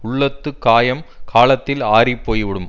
உள்ளத்துக் காயம் காலத்தில் ஆறிப்போய் விடும்